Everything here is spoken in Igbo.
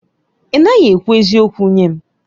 Ị naghị ekwu eziokwu nye m.